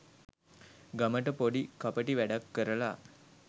ගමට පොඩි කපටි වැඩක් කරලා